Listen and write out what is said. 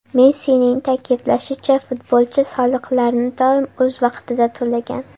Messining ta’kidlashicha, futbolchi soliqlarni doim o‘z vaqtida to‘lagan.